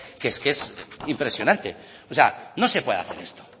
que es que es impresionante o sea no se puede hacer esto